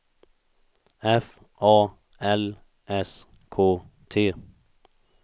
F A L S K T